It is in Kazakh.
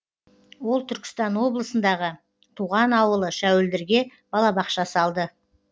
ол түркістан облысындағы туған ауылы шәуілдірге балабақша салды